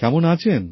কেমন আছেন